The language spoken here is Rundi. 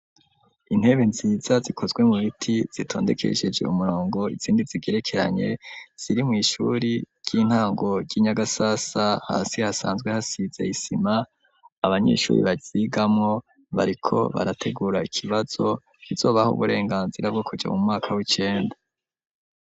Intebe nziza zikozwe mu biti zitondekesheje umurongo izindi zigerekeranye ziri mw'ishuri ry'intango ry'i Nyagasasa hasi hasanzwe hasize isima, abanyeshuri baryigamwo bariko barategura ikibazo kizobaha uburenganzira bwo kuja mu mwaka w'icenda.